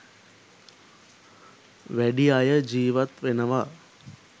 වැඩි අය ජීවත් වෙනවා.